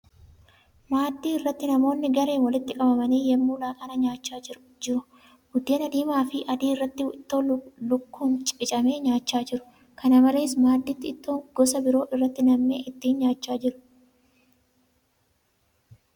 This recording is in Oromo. Maaddii irratti namoonni gareen walitti qabamanii yemmuu laaqanaan nyaachaa jiru. Buddeen diimaa fi adii irratti ittoo lukkuun qicamee nyaachaa jiru. Kana malees, maddiitti ittoon gosaa biroo irratti nammee ittiin nyaachaa jiru.